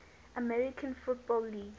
american football league